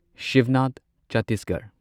Shibnath Chhattisgarh